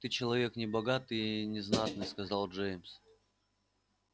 ты человек небогатый и незнатный сказал джеймс